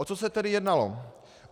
O co se tedy jednalo?